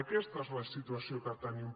aquesta és la situació que tenim